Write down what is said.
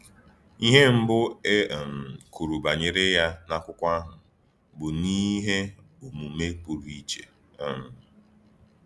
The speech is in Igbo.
Ihe mbụ e um kwuru banyere ya n’akụkọ ahụ bụ n’ihe omume pụrụ iche. um